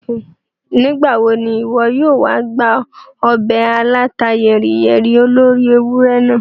Nígbàwo ni ìwọ yóò wa gba ọbẹ̀ alàta yẹ́ríyẹ́rí olóri ewurẹ naa?